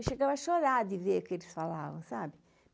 Eu chegava a chorar de ver o que eles falava, sabe?